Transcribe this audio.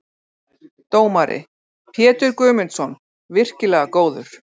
Dómari: Pétur Guðmundsson- virkilega góður.